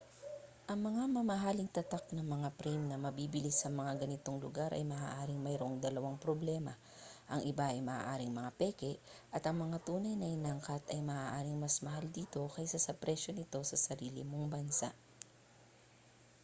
ang mga may mamahaling tatak na mga frame na mabibili sa mga ganitong lugar ay maaaring mayroong dalawang problema ang iba ay maaaring mga peke at ang mga tunay na inangkat ay maaaring mas mahal dito kaysa sa presyo nito sa sarili mong bansa